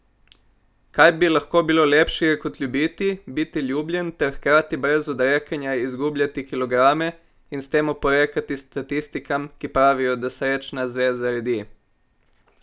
Kaj bi lahko bilo lepšega kot ljubiti, biti ljubljen ter hkrati brez odrekanja izgubljati kilograme in s tem oporekati statistikam, ki pravijo, da srečna zveza redi?